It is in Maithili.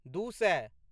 दू सए